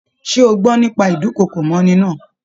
Ṣe o gbọ́ nípa ídùnkokò mọ́'ni náà?